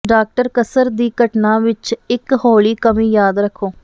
doctor ਕਸਰ ਦੀ ਘਟਨਾ ਵਿੱਚ ਇੱਕ ਹੌਲੀ ਕਮੀ ਯਾਦ ਰੱਖੋ